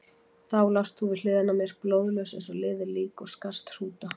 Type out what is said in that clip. Þá lást þú við hliðina á mér, blóðlaus eins og liðið lík og skarst hrúta.